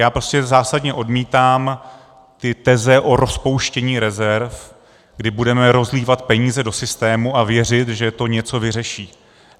Já prostě zásadně odmítám ty teze o rozpouštění rezerv, kdy budeme rozlívat peníze do systému a věřit, že to něco vyřeší.